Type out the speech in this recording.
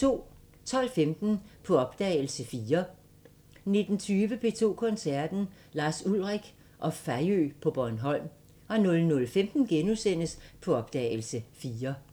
12:15: På opdagelse – 4 19:20: P2 Koncerten – Lars Ulrik og Fejø på Bornholm 00:15: På opdagelse – 4 *